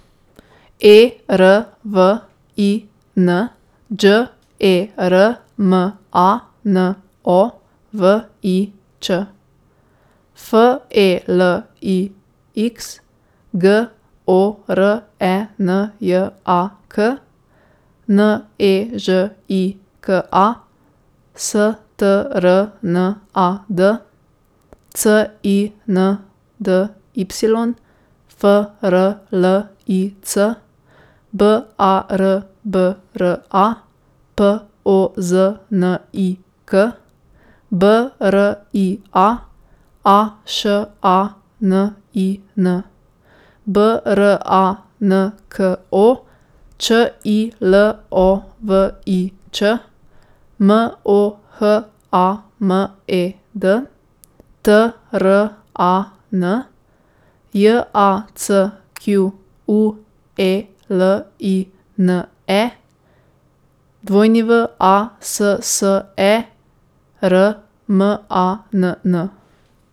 E R V I N, Đ E R M A N O V I Ć; F E L I X, G O R E N J A K; N E Ž I K A, S T R N A D; C I N D Y, F R L I C; B A R B R A, P O Z N I K; B R I A, A Š A N I N; B R A N K O, Č I L O V I Ć; M O H A M E D, T R A N; J A C Q U E L I N E, W A S S E R M A N N.